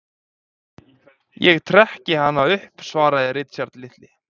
Ég trekki hana upp svaraði Richard litli.